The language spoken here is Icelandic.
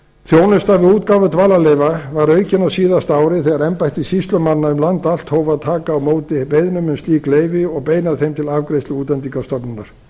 þjónusta við útgáfu dvalarleyfa var aukin á síðasta ári þegar embætti sýslumanna um land allt hóf að taka á móti beiðnum um slík leyfi og beina þeim til afgreiðslu útlendingastofnunar ég